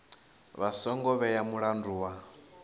vha songo vhea mulandu wa